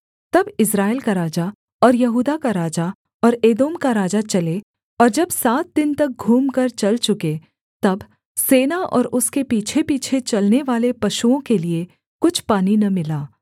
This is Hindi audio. तब इस्राएल का राजा और यहूदा का राजा और एदोम का राजा चले और जब सात दिन तक घूमकर चल चुके तब सेना और उसके पीछेपीछे चलनेवाले पशुओं के लिये कुछ पानी न मिला